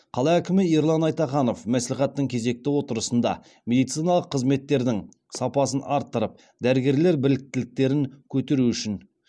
қала әкімі ерлан айтаханов мәслихаттың кезекті отырысында медициналық қызметтердің сапасын арттырып дәрігерлер біліктіліктерін көтеру үшін